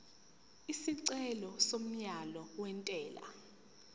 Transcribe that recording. isicelo somyalo wentela